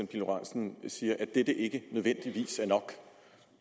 pihl lorentzen siger at dette ikke nødvendigvis